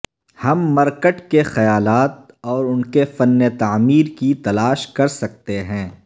ہم مرکٹ کے خیالات اور ان کے فن تعمیر کی تلاش کر سکتے ہیں